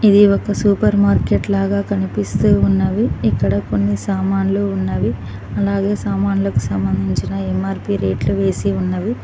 ఇది ఒక supermarket లాగా కనిపిస్తూ ఉన్నవి ఇక్కడ కొన్ని సామాన్లు ఉన్నవి అలాగే సామాన్లకు సంబంధించిన ఎమ్మార్పీ రేట్లు వేసి ఉన్నవి.